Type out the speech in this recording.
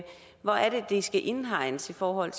det skal indhegnes i forhold